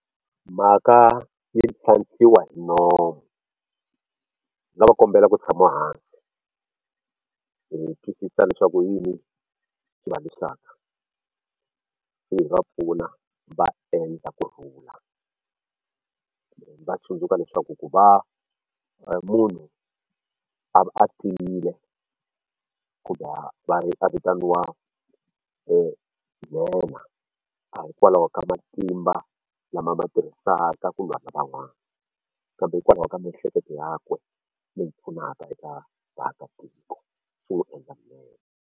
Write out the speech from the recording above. Mhaka yi tlhantlhiwa hi nomu yo kombela ku tshama hansi hi twisisa leswaku i yini xi va lwisaka se hi va pfuna va endla kurhula va tsundzuka leswaku ku va munhu a va a tiyile a vitaniwa nhenha a hi kwalaho ka matimba lama a ma tirhisaka ku lwa na van'wani kambe hikwalaho ka miehleketo yakwe leyi pfunaka eka vaakatiko .